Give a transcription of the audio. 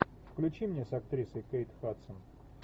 включи мне с актрисой кейт хадсон